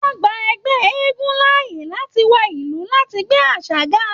Wọn gbà ẹgbẹ eégún láàyè láti wọ ìlú láti gbé àṣà ga.